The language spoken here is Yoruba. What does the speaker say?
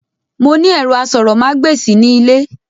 Mo ní ẹ̀rọ asọ̀rọ̀mágbèsì ní ilé